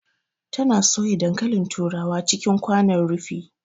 Ta na soya dankalin turawa cikin kwanon rufi